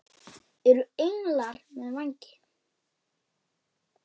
Eru englar með vængi?